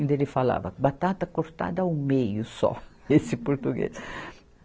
Ele falava batata cortada ao meio só, esse português.